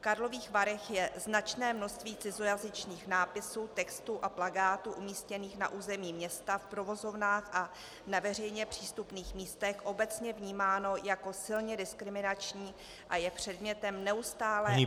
V Karlových Varech je značné množství cizojazyčných nápisů, textů a plakátů umístěných na území města v provozovnách a na veřejně přístupných místech obecně vnímáno jako silně diskriminační a je předmětem neustálé, opakované -